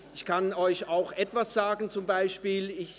Ich kann Ihnen auch ein Beispiel erzählen: